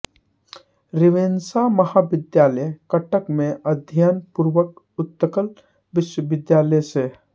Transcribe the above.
Ravenshaw महाविद्यालय कटक में अध्ययन पूर्वक उत्कल विश्वविद्यालय से